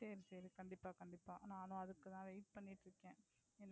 சரி, சரி, கண்டிப்பா, கண்டிப்பா நானும் அதுக்கு தான் Wait பண்ணிட்டு இருக்கேன்,